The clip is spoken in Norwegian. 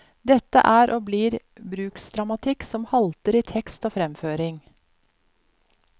Dette er og blir bruksdramatikk som halter i tekst og fremføring.